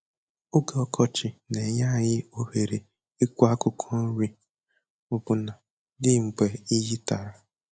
Oge ọkọchị na-enye anyị ohere ịkụ akwụkwọ nri ọbụna dị mgbe iyi tara